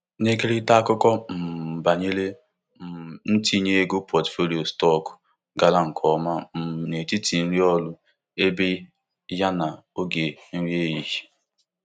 Na-ekerịta akụkọ um banyere um ntinye ego pọtụfoliyo stọkụ gara nke ọma um n'etiti ndị ọrụ ibe ya n'oge nri ehihie.